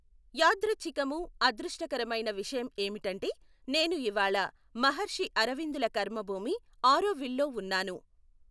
యాదృఛ్ఛికమూ, అదృష్టకరమైన విషయం ఏమిటంటే నేను ఇవాళ మహర్షి అరవిందుల కర్మభూమి ఆరోవిల్ లో ఉన్నాను.